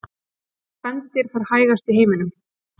Hvaða spendýr fer hægast í heiminum?